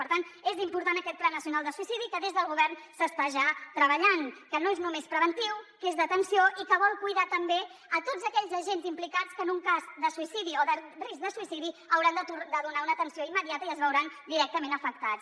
per tant és important aquest pla nacional de suïcidi des del govern s’hi està ja treballant que no és només preventiu que és d’atenció i que vol cuidar també tots aquells agents implicats que en un cas de suïcidi o de risc de suïcidi hauran de donar una atenció immediata i es veuran directament afectats